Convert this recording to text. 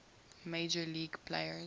major league players